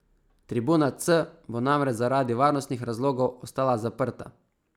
Tribuna C bo namreč zaradi varnostnih razlogov ostala zaprta.